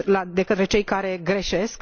de către cei care greșesc?